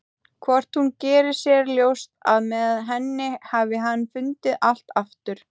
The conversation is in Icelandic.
Hvort hún geri sér ljóst að með henni hafi hann fundið allt aftur?